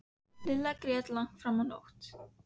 Lilla grét langt fram á nótt.